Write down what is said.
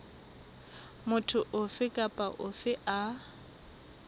motho ofe kapa ofe a